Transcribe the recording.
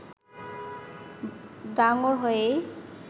ডাঙর হয়েই